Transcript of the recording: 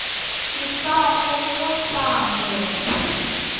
ke sa kgomo sa motho